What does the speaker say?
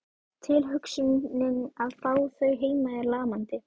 Tilhugsunin að fá þau heim er lamandi.